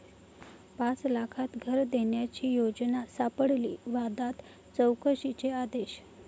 पाच लाखांत घर' देण्याची योजना सापडली वादात, चौकशीचे आदेश